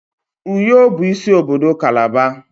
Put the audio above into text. Uyo bụ isi obodo kalaba.